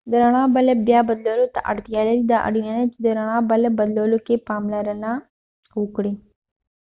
د ڼړا بلب بیا بدلولو ته اړتیا لري دا اړینه ده چې د رڼړا بلب بدلولو کې پاملرنه وکړئ